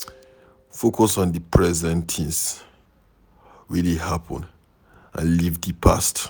Focus on di present things wey dey happen and leave di past